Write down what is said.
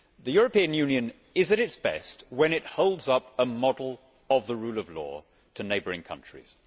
The European Union is at its best when it holds up a model of the rule of law to neighbouring countries.